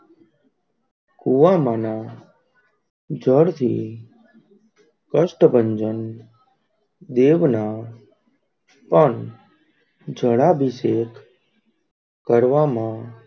કૂવામાના જળ થી કષ્ટભંજન દેવ, ના પણ, જળ આભિષેક કરવામાં,